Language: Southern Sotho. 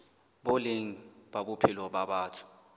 boleng ba bophelo ba batho